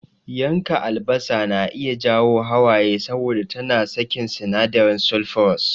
Yanka albasa na iya jawo hawaye saboda tana sakin sinadarin sulfurous.